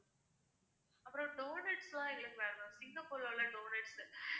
அப்புறம் donuts லாம் எங்களுக்கு வேணும் ma'am சிங்கப்பூர்ல உள்ள donuts